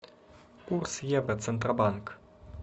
курс евро центробанк